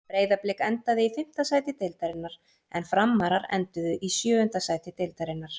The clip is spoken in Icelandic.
Breiðablik endaði í fimmta sæti deildarinnar en Framarar enduðu í sjöunda sæti deildarinnar.